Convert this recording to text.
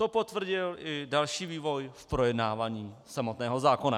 To potvrdil i další vývoj v projednávání samotného zákona.